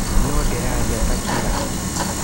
No ndĩraria ta kira.